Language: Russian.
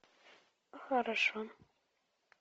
хорошо